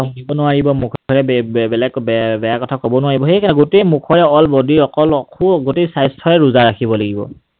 শুনিব নোৱাৰিব, মুখেৰে বেলেগ বেয়া কথা কব নোৱাৰিব। সেইকাৰণে গোটেই মুখৰে whole body ৰ অকল স্বাস্থ্যৰে ৰোজা ৰাখিব লাগিব।